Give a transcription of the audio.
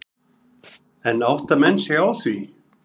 En átta menn sig á því?